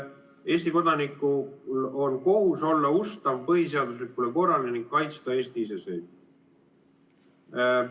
Eesti kodaniku kohus on olla ustav põhiseaduslikule korrale ning kaitsta Eesti iseseisvust.